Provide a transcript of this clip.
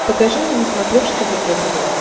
покажи мне на смотрешке егэ тв